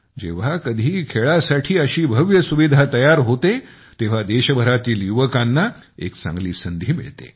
जेव्हा कधी खेळासाठी अशी भव्य सुविधा तयार होते तेव्हा देशभरातील युवकांना एक चांगली संधी मिळते